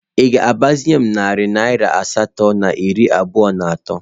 Ị ga-agbazinye m narị naira asatọ na iri abụọ na atọ?